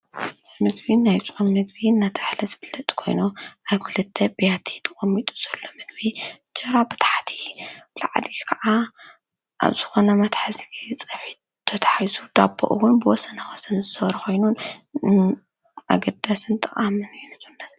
እዚ ምግቢን ናይፁም ምግቢን ናቲ ኣሕለ ዝብለጥ ኮይኖ ኣይኲልተ ቤያቲ ተቖሚጡ ዘሎ ምግቢ ጀራ በታሓቲ ብለዕዲኪ ከዓ ኣብ ዝኾነ መትሕዚ ጸብሕ ተተሒሱ ዳቦ ኦውን ብወሰናወሰን ዝሠወርኾይኑን ኣግዳስን ጠቓ ምንእዩ።